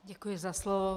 Děkuji za slovo.